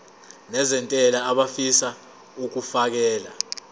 nezentela abafisa uukfakela